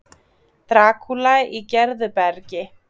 Drakúla í Gerðubergi